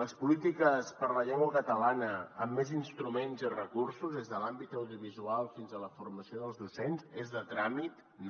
les polítiques per a la llengua catalana amb més instruments i recursos des de l’àmbit audiovisual fins a la formació dels docents és de tràmit no